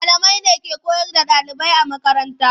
Malamai ne ke koyar da ɗalibai a makaranta.